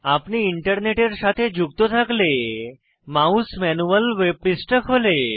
আপনি ইন্টারনেটের সাথে যুক্ত থাকলে মাউস ম্যানুয়াল ওয়েব পৃষ্ঠা খোলে